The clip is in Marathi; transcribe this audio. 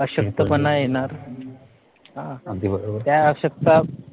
अशक्तपणा येणार त्या अशक्त